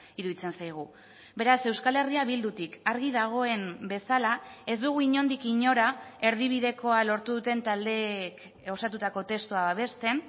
iruditzen zaigu beraz euskal herria bildutik argi dagoen bezala ez dugu inondik inora erdibidekoa lortu duten taldeek osatutako testua babesten